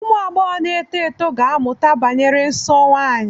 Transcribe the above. Ụmụ agbọghọ na-eto eto ga-amụta banyere nsọ nwanyị.